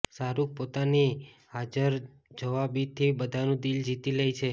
શાહરૂખ પોતાની હાજરજવાબીથી બધાનું દિલ જીતી લે છે